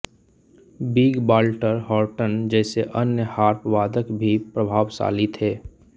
big Walter Horton जैसे अन्य harp वादक भी प्रभावशाली थे